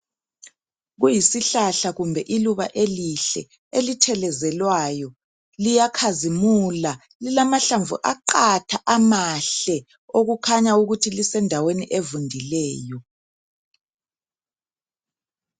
Kuyisihlahla kumbe iluba elihle elithelezelwayo liyakhazimula lilamahlamvu aqatha amahle okukhanya ukuthi lisendaweni evundileyo.